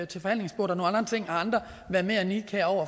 til forhandlingsbordet og ting har andre været mere nidkære over